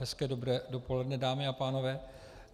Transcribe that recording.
Hezké dobré dopoledne, dámy a pánové.